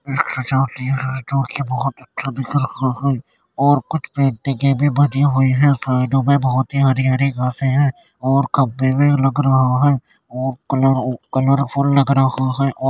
और कुछ पेंटिंगें भी बनी हुई हैं। साइडों में बोहोत ही हरी हरी घासें हैं और खम्भें भी लग रहा हैं और कलर ओ कलरफुल लग रहा है औ --